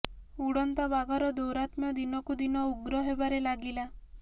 ଉଡନ୍ତା ବାଘର ଦୌରାତ୍ମ୍ୟ ଦିନକୁ ଦିନ ଉଗ୍ର ହେବାରେ ଲାଗିଲା